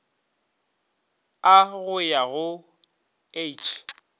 a go ya go h